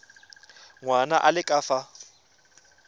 ngwana a le ka fa